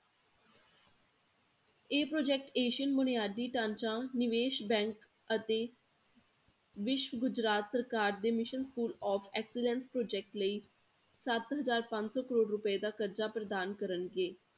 ਇਹ project asian ਬੁਨਿਆਦੀ ਢਾਂਚੇ ਨਿਵੇਸ bank ਅਤੇ ਵਿਸ਼ਵ ਗੁਜਰਾਤ ਸਰਕਾਰ ਦੇ mission school of excellence project ਲਈ ਸੱਤ ਹਜ਼ਾਰ ਪੰਜ ਸੌ ਕਰੌੜ ਰੁਪਏ ਦਾ ਕਰਜਾ ਪ੍ਰਦਾਨ ਕਰਨਗੇ